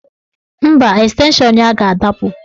Mba, estenshọn ya ga-adapụ